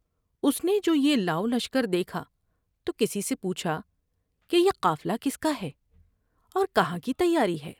اس نے جو یہ لاؤ لشکر دیکھا تو کسی سے پوچھا کہ یہ قافلہ کس کا ہے اور کہاں کی تیاری ہے ۔